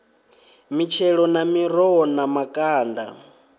mitshelo na miroho na makanda